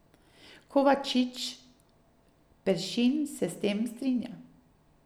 Kovačič Peršin se s tem strinja.